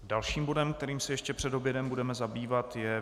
Dalším bodem, kterým se ještě před obědem budeme zabývat, je